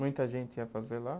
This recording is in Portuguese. Muita gente ia fazer lá?